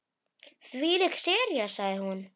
Þvílík sería sagði hún.